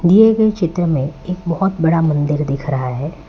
दिए गए चित्र में एक बहोत बड़ा मंदिर दिख रहा है।